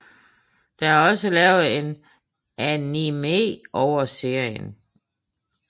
Der er også lavet en anime over serien